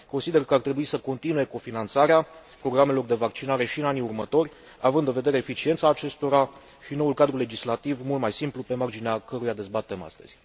Consider că ar trebui să continue cofinanțarea programelor de vaccinare și în anii următori, având în vedere eficiența acestora și noul cadru legislativ mult mai simplu pe marginea căruia dezbatem astăzi.